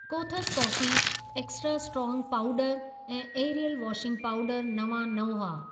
कोथस coffee, extra strong powder ऐं Ariel washing powder नवां न हुआ।